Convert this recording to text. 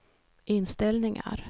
inställningar